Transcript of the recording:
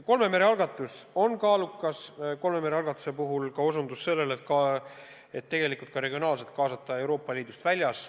Kolme mere algatus on kaalukas, sealhulgas ka osutus sellele, et tegelikult võiks regionaalselt kaasata riike Euroopa Liidust väljas.